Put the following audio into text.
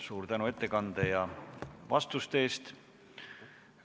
Suur tänu ettekande ja vastuste eest!